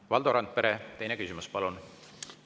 Valdo Randpere, teine küsimus, palun!